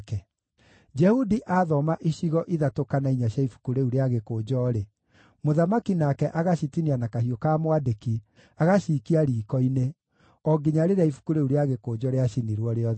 Jehudi aathoma icigo ithatũ kana inya cia ibuku rĩu rĩa gĩkũnjo-rĩ, mũthamaki nake agacitinia na kahiũ ka mwandĩki, agacikia riiko-inĩ, o nginya rĩrĩa ibuku rĩu rĩa gĩkũnjo rĩacinirwo rĩothe.